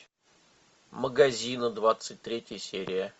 магаззино двадцать третья серия